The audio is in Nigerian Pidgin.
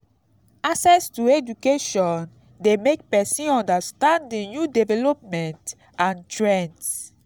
access to education de make persin understand di new development and trends